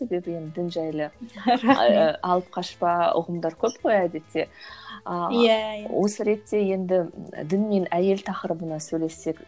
себебі енді дін жайлы алып қашпа ұғымдар көп қой әдетте а осы ретте енді дін мен әйел тақырыбына сөйлессек